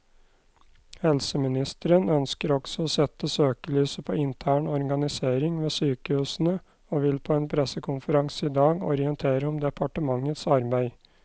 Helseministeren ønsker også å sette søkelyset på intern organisering ved sykehusene, og vil på en pressekonferanse i dag orientere om departementets arbeid.